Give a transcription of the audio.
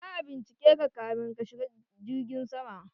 Za'a bincike ka ka min ka shiga jirgin sama